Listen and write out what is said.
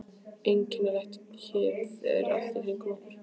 Einkennileg kyrrð er allt í kringum okkur.